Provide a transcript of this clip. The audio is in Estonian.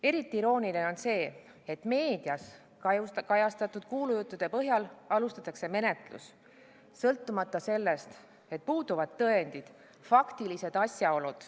Eriti irooniline on see, et meedias kajastatud kuulujuttude põhjal alustatakse menetlust sõltumata sellest, et puuduvad tõendid, faktilised asjaolud.